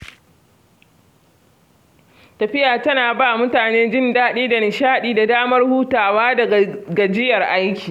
Tafiya tana ba mutane jin daɗi da nishaɗi da damar hutawa daga gajiyar aiki.